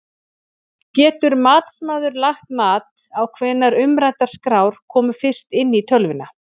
Getur matsmaður lagt mat á hvenær umræddar skrár komu fyrst inn í tölvuna?